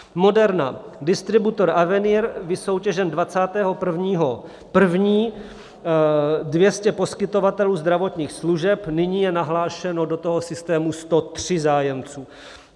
Moderna - distributor Avenier vysoutěžen 21. 1. - 200 poskytovatelů zdravotních služeb, nyní je nahlášeno do toho systému 103 zájemců.